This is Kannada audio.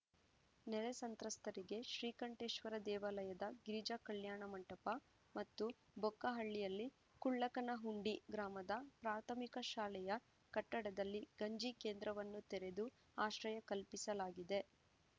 ನೆರೆ ಸಂತ್ರಸ್ತರಿಗಾಗಿ ಶ್ರೀಕಂಠೇಶ್ವರ ದೇವಾಲಯದ ಗಿರಿಜಾ ಕಲ್ಯಾಣ ಮಂಟಪ ಮತ್ತು ಬೊಕ್ಕಹಳ್ಳಿಯಲ್ಲಿ ಕುಳ್ಳಕನಹುಂಡಿ ಗ್ರಾಮದ ಪ್ರಾಥಮಿಕ ಶಾಲೆಯ ಕಟ್ಟಡದಲ್ಲಿ ಗಂಜಿಕೇಂದ್ರವನ್ನು ತೆರದು ಆಶ್ರಯ ಕಲ್ಪಿಸಲಾಗಿದೆ